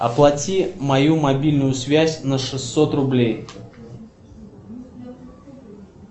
оплати мою мобильную связь на шестьсот рублей